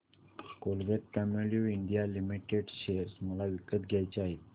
Colgate Palmolive India limited share मला विकत घ्यायचे आहेत